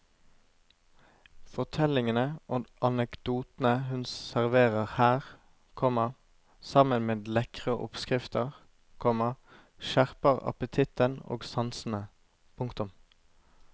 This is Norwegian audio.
Fortellingene og anekdotene hun serverer her, komma sammen med lekre oppskrifter, komma skjerper appetitten og sansene. punktum